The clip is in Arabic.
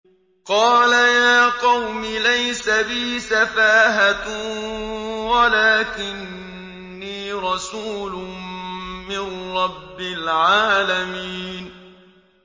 قَالَ يَا قَوْمِ لَيْسَ بِي سَفَاهَةٌ وَلَٰكِنِّي رَسُولٌ مِّن رَّبِّ الْعَالَمِينَ